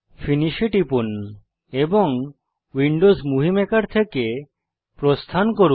Finish এ টিপুন এবং উইন্ডোজ মুভি মেকার থেকে প্রস্থান করুন